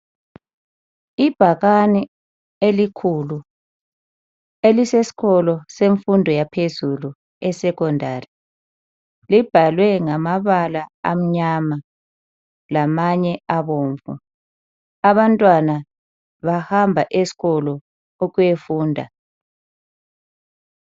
Ibhakane elikhulu elisesikolo semfundo yaphezulu eSekhondari. Libhalwe ngamabala amnyama lamanye abomvu. Abantwana bahamba esikolo ukuyafunda.